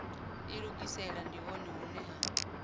ilugisela ndi hone hune ha